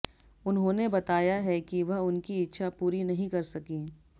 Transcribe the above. उन्होंने बताया है कि वह उनकी इच्छा पूरी नहीं कर सकीं